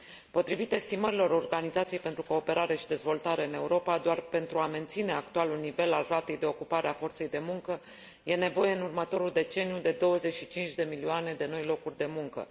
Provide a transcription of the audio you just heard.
Potrivit estimărilor Organizației pentru Cooperare și Dezvoltare în Europa, doar pentru a menține actualul nivel al ratei de ocupare a forței de muncă e nevoie în următorul deceniu de 25 de milioane de noi locuri de muncă.